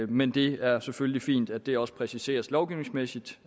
men det er selvfølgelig fint at det også præciseres lovgivningsmæssigt